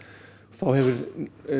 þá hefur